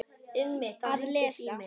Að lesa?